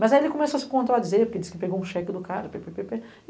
Mas aí ele começou a se contradizer, porque disse que pegou um cheque do cara.